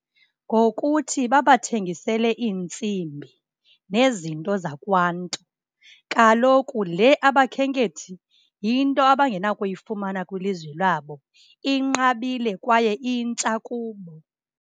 Ngokuthi babathengisele iintsimbi nezinto zakwaNtu. Kaloku le abakhenkethi yinto abangenakuyifumana kwilizwe lwabo, inqabile kwaye intsha kubo.